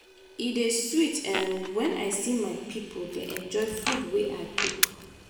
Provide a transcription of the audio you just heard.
e dey sweet um when i see my pipo dey enjoy food wey i cook.